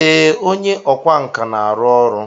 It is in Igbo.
Ee, onye ọkwá nkà na-arụ ọrụ.